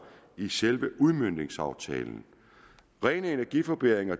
i selve udmøntningsaftalen rene energiforbedringer